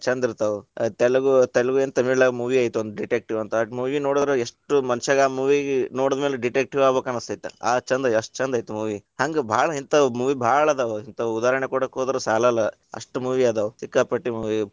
ಛಂದ್‌ ಇರ್ತಾವ ತೆಲುಗು ತೆಲುಗು ಏನ್‌ ತಮಿಳ್ನ್ಯಾಗ movie ಐತ ಒಂದ್ detective ಅಂತ, ಅದ್‌ movie ನೋಡಿದ್ರ ಎಸ್ಟ್‌ ಮನಷ್ಯಾಗ ಆ movie ನೋಡಿದ್ಮೇಲೆ detective ಆಗಬೇಕ ಅನ್ಸತಿತ್ತ, ಆ ಛಂದ, ಎಸ್ಟ್ ಛಂದ ಐತಿ movie ಹಂಗ್‌ ಭಾಳ ಹಿಂಥಾವ movie ಭಾಳ ಅದಾವ, ಹಿಂಥಾವ ಉದಾಹರಣೆ ಕೊಡಾಕ ಹೊದ್ರ ಸಾಲಲ್ಲಾ, ಅಷ್ಟು movie ಅದಾವ ಸಿಕ್ಕಾಪಟ್ಟೆ.